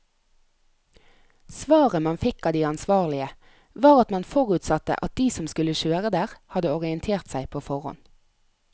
Svaret man fikk av de ansvarlige, var at man forutsatte at de som skulle kjøre der, hadde orientert seg på forhånd.